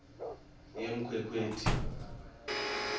yenkhwekhweti